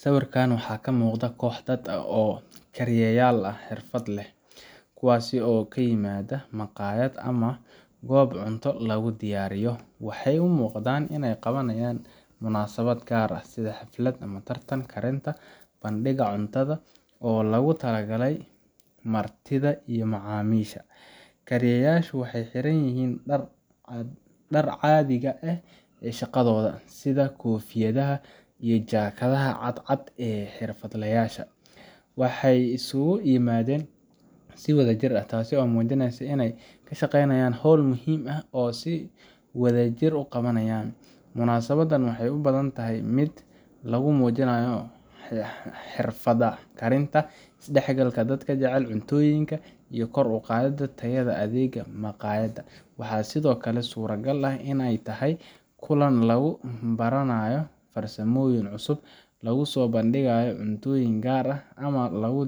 Sawirka waxaa ka muuqda koox dad ah oo ah kariyeyaal xirfad leh, kuwaas oo isu yimaaday maqaayad ama goob cunto lagu diyaariyo. Waxay u muuqdaan inay qabanayaan munaasabad gaar ah, sida xaflad, tartan karinta, bandhig cunto oo loogu talagalay martida iyo macaamiisha. Kariyeyaashu waxay xidhan yihiin dharka caadiga ah ee shaqadooda, sida koofiyadaha iyo jaakadaha cad cad ee xirfadlayaasha. Waxay isugu yimaadeen si wadajir ah, taasoo muujinaysa in ay ka shaqeynayaan hawl muhiim ah oo ay si wadajir ah u qabanayaan. Munaasabadan waxay u badan tahay mid lagu muujinayo xirfadda karinta, is dhexgalka dadka jecel cuntooyinka, iyo kor u qaadidda tayada adeegga maqaayadda. Waxaa sidoo kale suuragal ah inay tahay kulan lagu baranayo farsamooyin cusub, lagu soo bandhigayo cuntooyin gaar ah, ama lagu